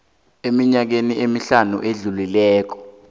eminyakeni emihlanu edlulileko